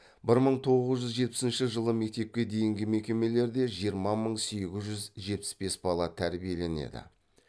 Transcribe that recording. бір мың тоғыз жүз жетпісінші жылы мектепке дейінгі мекемелерде жиырма мың сегіз жүз жетпіс бес бала тәрбиеленеді